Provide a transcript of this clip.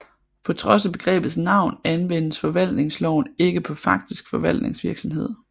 På trods af begrebets navn anvendes forvaltningsloven ikke på faktisk forvaltningsvirksomhed